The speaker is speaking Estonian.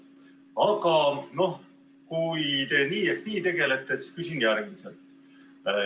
Aga no kui te nii ehk naa tegelete, siis küsin järgmiselt.